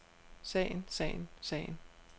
sagen sagen sagen